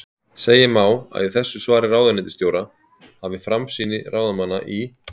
Segja má að í þessu svari ráðuneytisstjóra hafi framsýni ráðamanna í